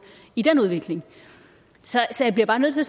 i den udvikling så jeg bliver bare nødt til